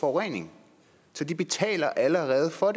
forureningen så de betaler allerede for